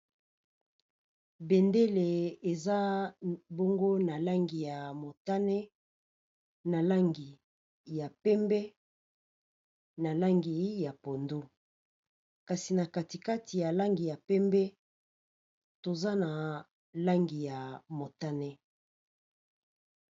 Bendele eza bongo na langi ya motane, na langi ya pembe, na langi ya pondu. Kasi na kati kati ya langi ya pembe, toza na langi ya motane.